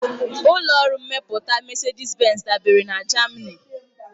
Ụlọ ọrụ mmepụta Mesedis-Benz dabeere na Jamani.